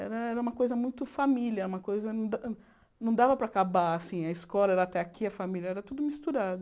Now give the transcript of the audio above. Era era uma coisa muito família, não dava para acabar assim, a escola era até aqui, a família era tudo misturado.